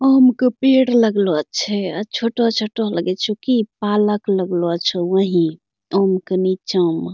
आम क पेड़ लगलो छे अ छोटो-छोटो लगै छो की पालक लगलो छो वहीं आम क नीचा म।